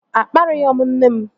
Akparịghọ m nne m